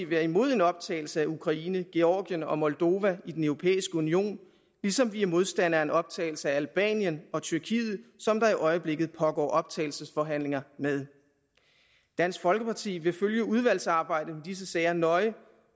være imod en optagelse af ukraine georgien og moldova i den europæisk union ligesom vi er modstandere af en optagelse af albanien og tyrkiet som der i øjeblikket pågår optagelsesforhandlinger med dansk folkeparti vil følge udvalgsarbejdet i disse sager nøje